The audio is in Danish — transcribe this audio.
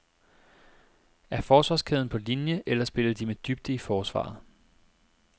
Er forsvarskæden på linie, eller spiller de med dybde i forsvaret?